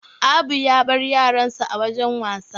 Abu ya bar yaransa a wajan wasa.